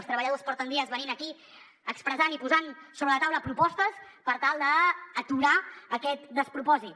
els treballadors porten dies venint aquí expressant i posant sobre la taula propostes per tal d’aturar aquest despropòsit